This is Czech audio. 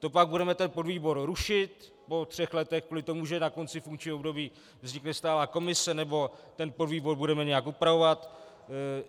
To pak budeme ten podvýbor rušit po třech letech kvůli tomu, že na konci funkčního období vznikne stálá komise, nebo ten podvýbor budeme nějak upravovat?